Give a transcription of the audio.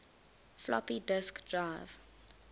floppy disk drive